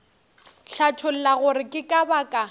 hlatholla gore ke ka baka